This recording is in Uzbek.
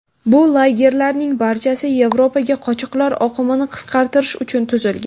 Bu lagerlarning barchasi Yevropaga qochoqlar oqimini qisqartirish uchun tuzilgan.